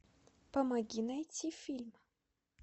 помоги найти фильм